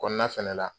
Kɔnɔna fɛnɛ la